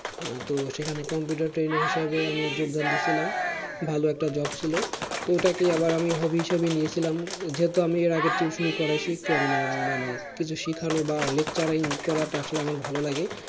আহ তো সেখানে computer trainer হিসাবে আমি যোগদান দিয়েছিলাম ভালো একটা job ছিল তো ওটাকেই আমি আবার hobby হিসাবে নিয়েছিলাম যেহেতু আমি এর আগে tuition ই করাইছি কেমনে মানে কিছু শেখানো বা lecturing করাটা আসলে আমার ভালো লাগে